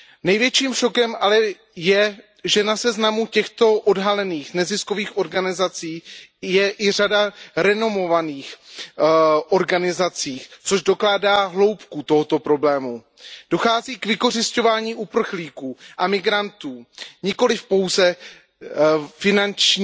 Největším šokem ale je, že na seznamu těchto odhalených neziskových organizací je i řada renomovaných organizací, což dokládá hloubku tohoto problému. Dochází k vykořisťování uprchlíků a migrantů, nejde pouze o finanční